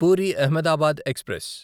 puri Ahmedabad express